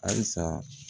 Halisa